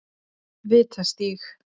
Vitastíg